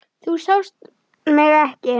Þú sást mig ekki.